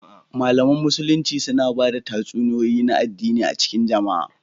Malaman Musulunci suna ba da tatsuniyoyi na addini a cikin jama'a